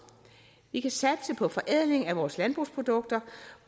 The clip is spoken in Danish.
vi kan satse på forædling af vores landbrugsprodukter